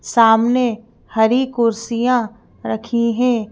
सामने हरी कुर्सियाँ रखी हैं।